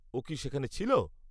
ও কি সেখানে ছিল?